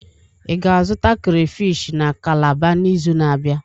Ị ga-azụta krayfish na kalabar n'izu na-abịa?